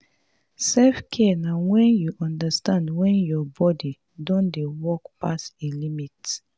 selfcare na when you understand when your body don dey work pass im limit